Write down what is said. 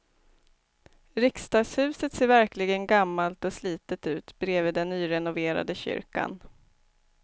Riksdagshuset ser verkligen gammalt och slitet ut bredvid den nyrenoverade kyrkan.